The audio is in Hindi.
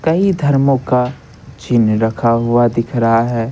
कई धर्मों का चिन्ह रखा हुआ दिख रहा है।